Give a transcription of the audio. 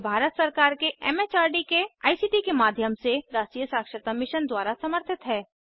यह भारत सरकार के एमएचआरडी के आईसीटी के माध्यम से राष्ट्रीय साक्षरता मिशन द्वारा समर्थित है